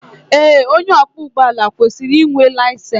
Ee onye ọkwọ ụgbọ ọbula kwesịrị ịnwe layisensi